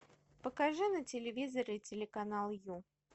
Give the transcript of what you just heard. покажи на телевизоре телеканал ю